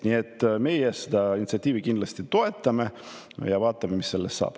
Nii et meie seda initsiatiivi kindlasti toetame, vaatame, mis sellest saab.